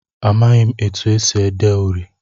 Amaghị etu e si ede uri.